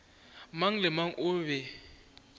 mang le mang o be